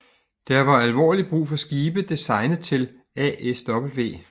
Der var alvorligt brug for skibe designet til ASW